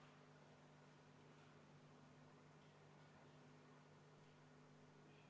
Tundub, et kõik kastid on saalis.